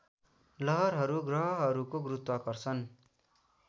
लहरहरू ग्रहहरूको गुरुत्वाकर्षण